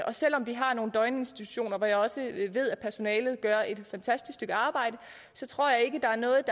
og selv om vi har nogle døgninstitutioner hvor jeg også ved at personalet gør et fantastisk stykke arbejde så tror jeg ikke der er noget